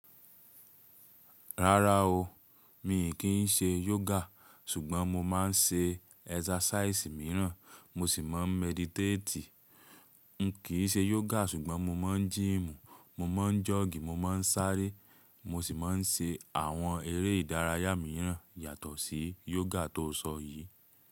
Rárá o, mi kì í ṣe yoga ṣùgbọ́n mo máa ń ṣe exercise mìíràn, mo sì máa ń meditate. N kii ṣe yoga ṣùgbọ́n mo máa ń gym, mo máa ń jog, mo máa ń sáré, mo sì máa ń ṣe àwọn eré ìdárayá míràn yàtọ̀ sí yoga tó sọ yìí.